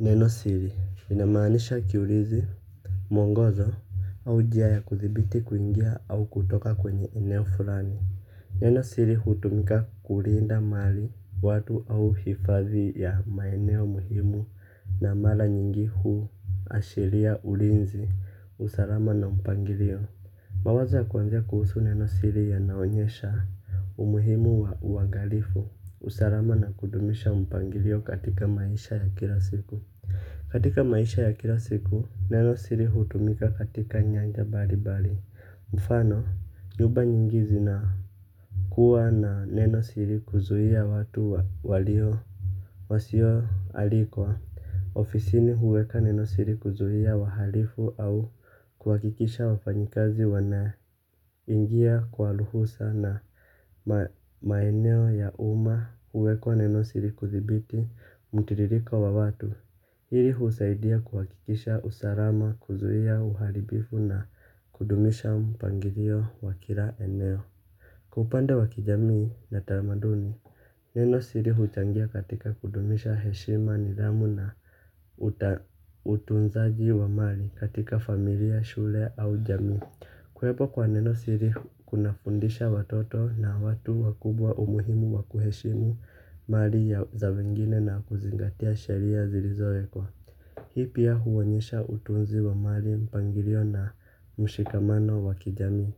Neno siri lina maanisha kiulizi. Mwongozo au njia ya kuthibiti kuingia au kutoka kwenye eneo fulani. Neno siri hutumika kulinda mali watu au hifadhi ya maeneo muhimu na mara nyingi huashiria ulinzi usalama na mpangilio. Mawazo ya kuanzia kuhusu neno siri yanaonyesha umuhimu wa uangalifu. Usalama na kudumisha mpangilio katika maisha ya kila siku. Katika maisha ya kila siku, neno siri hutumika katika nyanja mbali mbali. Mfano, nyumba nyingi zinakuwa na neno siri kuzuia watu walio wasio alikwa ofisini huweka neno siri kuzuia wahalifu au kuhakikisha wafanyikazi wana ingia kwa ruhusa na maeneo ya umma huwekwa neno siri kudhibiti mtiririko wa watu hili husaidia kuhakikisha usalama kuzuia uharibifu na kudumisha mpangilio wa kila eneo kwa upande wa kijamii na tamaduni. Neno siri huchangia katika kudumisha heshima nidhamu na utunzaji wa mali katika familia shule au jamii. Kuwepo kwa neno siri kuna fundisha watoto na watu wakubwa umuhimu wa kuheshimu mali ya za wengine na kuzingatia sheria zilizowekwa. Hii pia huonyesha utunzi wa mali mpangilio na mshikamano wa kijamii.